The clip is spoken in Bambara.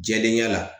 Jɛlenya la